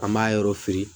An b'a yɔrɔ fili